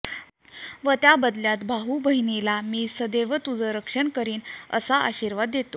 व त्या बदल्यात भाऊ बहिणीला मी सदैव तुझं रक्षण करीन असा आशिर्वाद देतो